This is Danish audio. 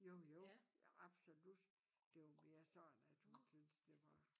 Jo jo absolut det var mere sådan at hun syntes det var